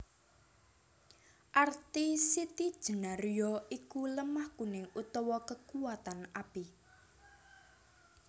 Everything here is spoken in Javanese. Arti Siti Jénar ya iku lemah kuning utawa kekuwatan api